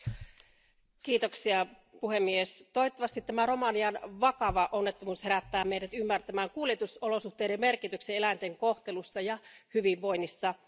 Arvoisa puhemies, toivottavasti tämä Romanian vakava onnettomuus herättää meidät ymmärtämään kuljetusolosuhteiden merkityksen eläinten kohtelun ja hyvinvoinnin kannalta.